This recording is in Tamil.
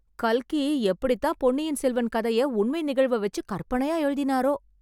கல்கி எப்படித்தான் பொன்னியின் செல்வன் கதையை உண்மை நிகழ்வ வைச்சி கற்பனையா எழுதினாரோ?